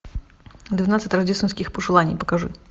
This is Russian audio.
двенадцать рождественских пожеланий покажи